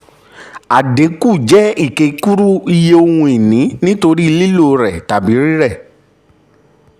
àdínwó jẹ́ ìkékúrú um iye ohun-ìní nítorí lílò rẹ̀ tàbí rírẹ̀.